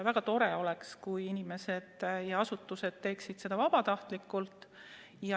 Väga tore oleks, kui inimesed ja asutused täidaksid kohustusi vabatahtlikult.